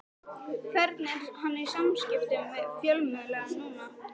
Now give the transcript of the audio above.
Hvernig er hann í samskiptum við fjölmiðla núna?